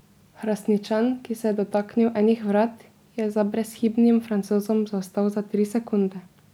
Hrastničan, ki se je dotaknil enih vrat, je za brezhibnim Francozom zaostal za tri sekunde.